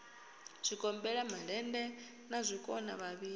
zwigombela malende na zwikona vhavhili